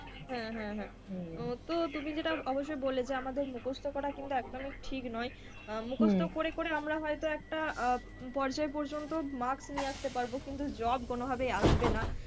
হম হম হম তো তুমি যেটা অবশ্যই বললে যে আমাদের মুখস্ত করা কিন্তু একদমই ঠিক নয়। আহ মুখস্ত করে করে আমরা হয়তো একটা পর্যায় পর্যন্ত marks নিয়ে আসতে পারবো কিন্তু job কোনো ভাবেই আসবে না।